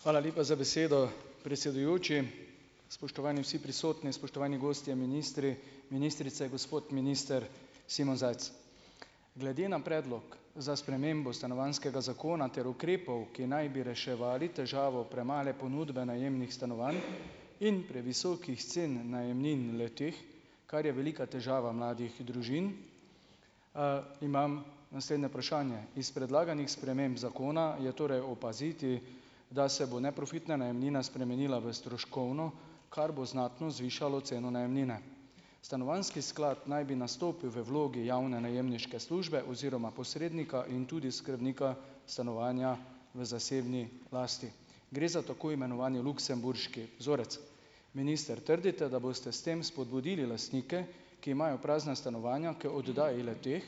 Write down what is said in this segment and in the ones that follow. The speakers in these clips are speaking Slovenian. Hvala lepa za besedo, predsedujoči. Spoštovani vsi prisotni, spoštovani gostje, ministri, ministrice, gospod minister Simon Zajc! Glede na predlog za spremembo stanovanjskega zakona ter ukrepov, ki naj bi reševali težavo premale ponudbe najemnih stanovanj in previsokih cen najemnin le-teh, kar je velika težava mladih družin. Imam naslednje vprašanje. Iz predlaganih sprememb zakona, je torej opaziti, da se bo neprofitna najemnina spremenila v stroškovno, kar bo znatno zvišalo ceno najemnine. Stanovanjski sklad naj bi nastopil v vlogi javne najemniške službe oziroma posrednika in tudi skrbnika stanovanja v zasebni lasti. Gre za tako imenovani luksemburški vzorec. Minister, trdite, da boste s tem spodbudili lastnike, ki imajo prazna stanovanja k oddaji le-teh,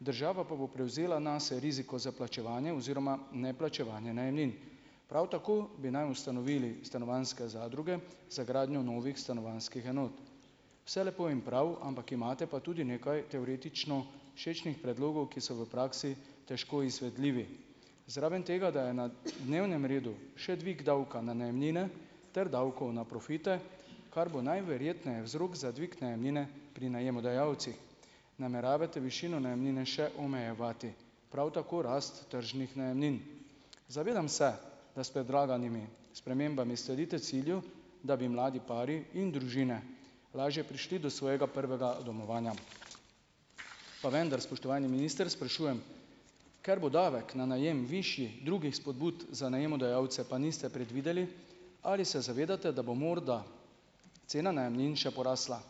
država pa bo prevzela nase riziko za plačevanje oziroma neplačevanje najemnin? Prav tako bi naj ustanovili stanovanjske zadruge za gradnjo novih stanovanjskih enot. Vse lepo in prav, ampak imate pa tudi nekaj teoretično všečnih predlogov, ki so v praksi težko izvedljivi, zraven tega, da je na dnevnem redu še dvig davka na najemnine ter davkov na profite, kar bo najverjetneje vzrok za dvig najemnine pri najemodajalcih. Nameravate višino najemnine še omejevati, prav tako rast tržnih najemnin? Zavedam se, da s predlaganimi spremembami sledite cilju, da bi mladi pari in družine lažje prišli do svojega prvega domovanja. Pa vendar, spoštovani minister, sprašujem, ker bo davek na najem višji, drugih spodbud za najemodajalce pa niste predvideli, ali se zavedate, da bo morda cena najemnin še porasla.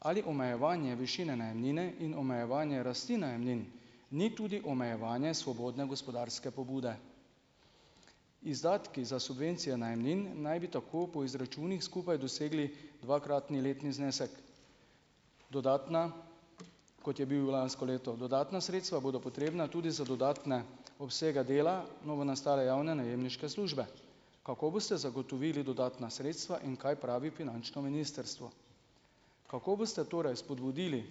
Ali omejevanje višine najemnine in omejevanje rasti najemnin ni tudi omejevanje svobodne gospodarske pobude? Izdatki za subvencijo najemnin naj bi tako po izračunih skupaj dosegli dvakratni letni znesek. Dodatna, kot je bil lansko leto. Dodatna sredstva bodo potrebna tudi za dodatne obsege dela novonastale javne najemniške službe. Kako boste zagotovili dodatna sredstva? In kaj pravi finančno ministrstvo? Kako boste torej spodbudili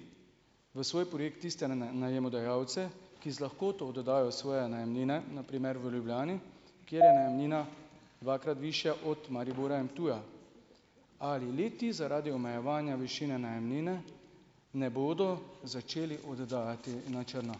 v svoj projekt tiste najemodajalce, ki z lahkoto dodajo v svoje najemnine, na primer v Ljubljani, kjer je najemnina dvakrat višja od Maribora in Ptuja? Ali le-ti zaradi omejevanja višine najemnine ne bodo začeli oddajati na črno?